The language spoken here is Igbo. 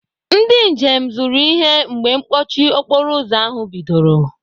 Ndị njem zụrụ ihe mgbe mkpọchi okporoụzọ ahụ bidoro.